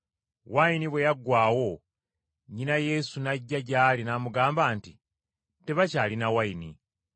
Wayini bwe yaggwaawo, nnyina Yesu n’ajja gy’ali n’amugamba nti, “Tebakyalina wayini.”